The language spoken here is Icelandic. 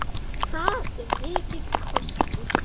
Það er mikill kostur.